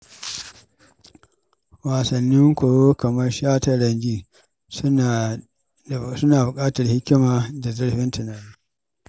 Wasannin koyo kamar shataranjin suna buƙatar hikima da zurfin tunani.